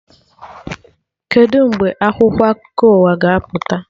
Kedụ mgbe akwụkwọ akụkọ ụwa ga-apụta?